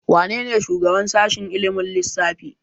Wanene shugaban sashen ilimin lissafi?